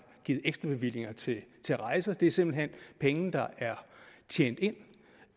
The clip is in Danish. givet ekstrabevillinger til til rejser det er simpelt hen penge der er tjent ind